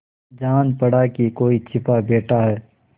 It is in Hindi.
जान पड़ा कि कोई छिपा बैठा है